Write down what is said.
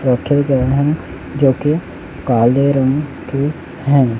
रखे गयें है जो की काले रंग के हैं।